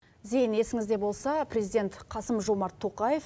зейін есіңізде болса президент қасым жомарт тоқаев